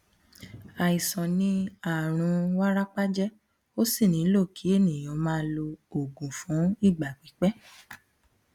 àìsàn ni àrùn wárápá jẹ ó sì nílò kí ènìyàn máa lo oògùn fún ìgbà pípẹ